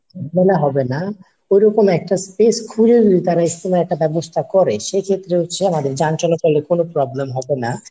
মেলা হবে না ঐরকম একটা space খুঁজে নির্ধারণ বা একটা ব্যবস্থা করে সেক্ষেত্রে হচ্ছে আমাদের যান চলাচলের কোনো problem হবে না